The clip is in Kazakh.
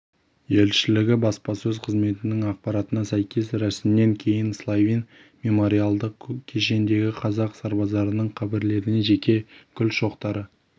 елшілігі баспасөз қызметінің ақпаратына сәйкес рәсімнен кейін славин мемориалдық кешендегі қазақ сарбаздарының қабірлеріне жеке гүл шоқтары